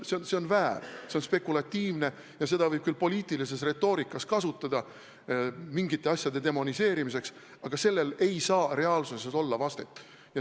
See on väär, see on spekulatiivne ja seda võib küll poliitilises retoorikas kasutada mingite asjade demoniseerimiseks, aga sellel ei saa reaalsuses vastet olla.